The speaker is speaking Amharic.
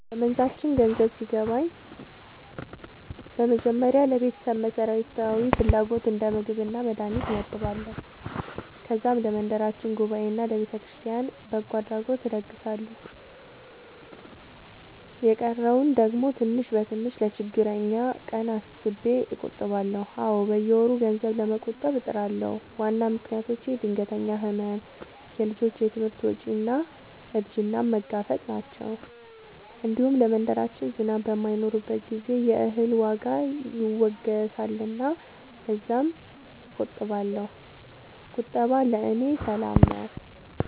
በመንዛችን ገንዘብ ሲገባኝ በመጀመሪያ ለቤተሰብ መሠረታዊ ፍላጎት እንደ ምግብና መድሀኒት እመድባለሁ። ከዛም ለመንደራችን ጉባኤና ለቤተክርስቲያን በጎ አድራጎት እለግሳለሁ። የቀረውን ደግሞ ትንሽ በትንሽ ለችግረኛ ቀን አስቤ እቆጥባለሁ። አዎ፣ በየወሩ ገንዘብ ለመቆጠብ እጥራለሁ። ዋና ምክንያቶቼ ድንገተኛ ሕመም፣ የልጆች ትምህርት ወጪ እና እርጅናን መጋፈጥ ናቸው። እንዲሁም ለመንደራችን ዝናብ በማይኖርበት ጊዜ የእህል ዋጋ ይወገሳልና ለዚያም እቆጥባለሁ። ቁጠባ ለእኔ ሰላም ነው።